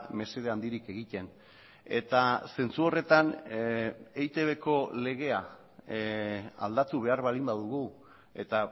mesede handirik egiten eta zentzu horretan eitbko legea aldatu behar baldin badugu eta